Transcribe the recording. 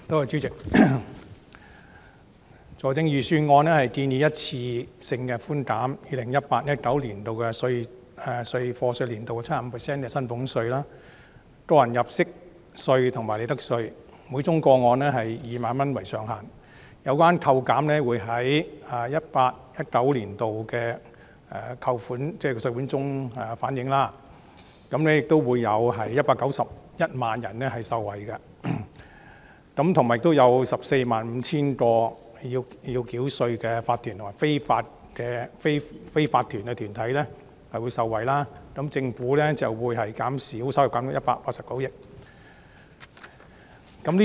主席，財政預算案建議一次性寬減 2018-2019 課稅年度 75% 的薪俸稅、個人入息課稅及利得稅，每宗個案以2萬元為上限，有關扣減會在 2018-2019 年度的稅款中反映，會有191萬人受惠，亦有 145,000 個須繳稅的法團及非法團業務受惠，政府稅收會減少189億元。